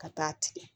Ka taa tigɛ